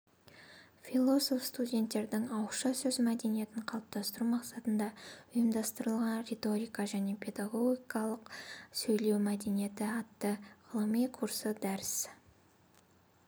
фиололог-студенттердің ауызша сөз мәдениетін қалыптастыру мақсатында ұйымдастырылған риторика және педагогтың сөйлеу мәдениеті атты ғылыми курсы дәріс